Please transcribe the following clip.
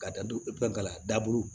Ka da don ka daburu